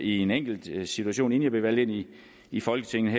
i en enkelt situation inden jeg blev valgt ind i i folketinget